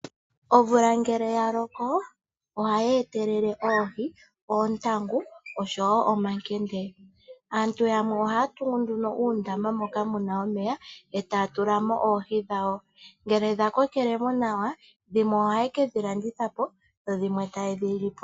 Omvula ngele ya loko oha yeetelele oohi, oontangu oshowo omankende. Aantu yamwe ohaya tungu nduno uundama moka mu na omeya e taya tulamo oohi dhawo ngele dha kokelemo nawa dhimwe ohaye kedhi landithapo dhimwe taye dhi lipo.